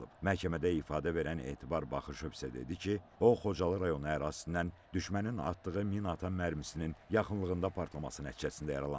Məhkəmədə ifadə verən Etibar Baxışov isə dedi ki, o, Xocalı rayonu ərazisindən düşmənin atdığı minaatan mərmisinin yaxınlığında partlaması nəticəsində yaralanıb.